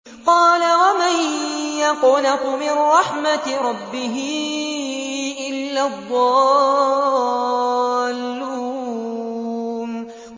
قَالَ وَمَن يَقْنَطُ مِن رَّحْمَةِ رَبِّهِ إِلَّا الضَّالُّونَ